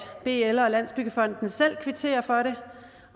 bl og landsbyggefonden selv kvitterer for det